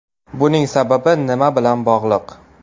Buning sababi nima bilan bog‘liq?